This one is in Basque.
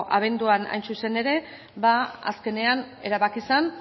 abenduan hain zuzen ere azkenean erabaki zen